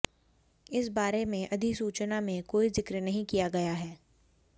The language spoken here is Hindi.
इस बारे में अधिसूचना में कोई जिक्र नहीं किया गया है